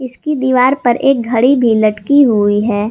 इसकी दीवार पर एक घड़ी भी लटकी हुई है।